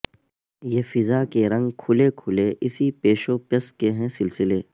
یہ فضا کے رنگ کھلے کھلے اسی پیش و پس کے ہیں سلسلے